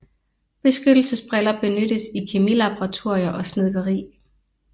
Beskyttelsesbriller benyttes i kemilaboratorier og snedkeri